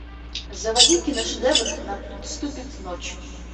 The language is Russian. заводи киношедевр наступит ночь